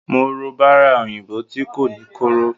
Mo ro bara oyinbo ti ko ni koro.